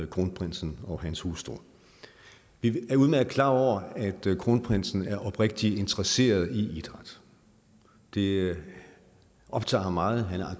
kronprinsen og hans hustru vi er udmærket klar over at kronprinsen er oprigtig interesseret i idræt det optager ham meget han er